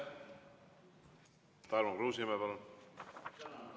Tarmo Kruusimäe, palun!